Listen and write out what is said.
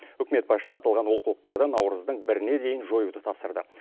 үкімет басшысы аталған олқылықтарды наурыздың біріне дейін жоюды тапсырды